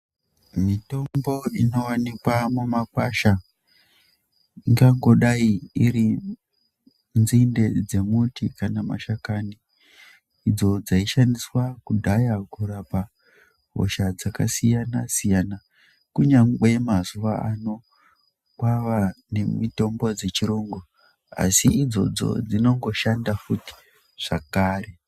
Mitombo inowanikwa mumakwasha ingangodai iri nzinde dzemuti kana mashakani idzo dzaishandiswa kudhaya kurapa hosha dzakasiyana siyana kunyangwe mazuwa ano kwava nemitombo dzechirungu asi idzodzo dzinongoshanda futi zvakare.